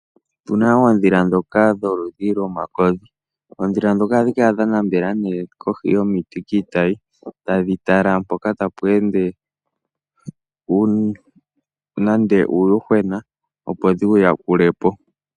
Opuna oodhila dhoka dholudhi lwomakodhi. Oodhila dhoka ohadhi kala nee dha nambela koohi dhomiiti kiitayi. Tadhi tala mpoka tapu ende nande uuyuhwena opo dhiwu yakulepo.